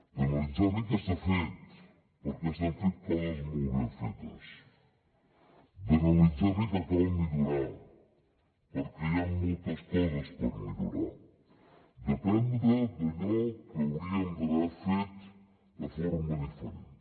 d’analitzar bé què s’ha fet perquè s’han fet coses molt ben fetes d’analitzar bé què cal millorar perquè hi han moltes coses per millorar d’aprendre d’allò que hauríem d’haver fet de forma diferent